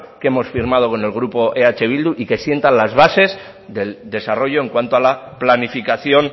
que hemos firmado con el grupo eh bildu y que sienta las bases del desarrollo en cuanto a la planificación